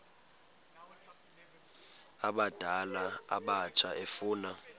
abadala abatsha efuna